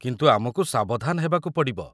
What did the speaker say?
କିନ୍ତୁ ଆମକୁ ସାବଧାନ ହେବାକୁ ପଡ଼ିବ।